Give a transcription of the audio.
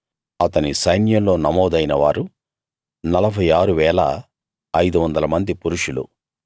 అతని సైన్యంలో నమోదైన వారు 46 500 మంది పురుషులు